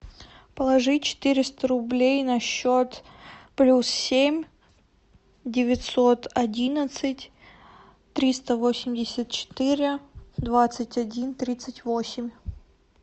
положи четыреста рублей на счет плюс семь девятьсот одиннадцать триста восемьдесят четыре двадцать один тридцать восемь